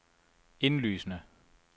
indlysende